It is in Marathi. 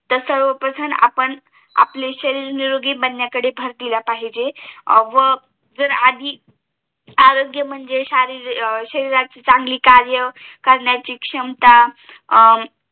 तास आपण आपले शरीसर निरोगी बनान्या कडे भर दिला पाहिजे व आधी आरोग्य म्हणजे शरीरात चांगली कार्य करण्याची क्षमता